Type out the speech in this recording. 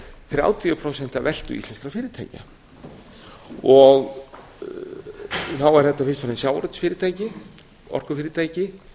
þrjátíu prósent af veltu íslenskra fyrirtækja þá eru þetta fyrst og fremst sjávarútvegsfyrirtæki orkufyrirtæki